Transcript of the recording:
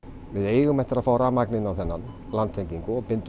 við eigum eftir að fá rafmagn inn á þennan landtengingu og bindum